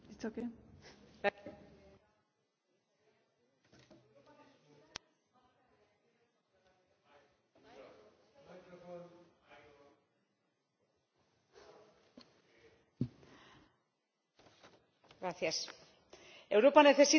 Señora Presidenta, Europa necesita su marca y acciones contra la violencia de género, porque esta lacra ha costado la vida, solo en España, a 44 mujeres en diez meses,